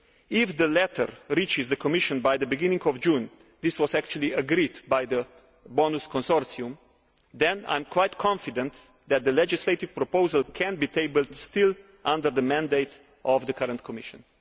If the latter reaches the Commission by the beginning of June this was agreed by the BONUS consortium then I am quite confident that the legislative proposal can be tabled still under the mandate of the current Commission.